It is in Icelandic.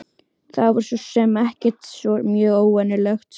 Það var svo sem ekkert svo mjög óvenjulegt.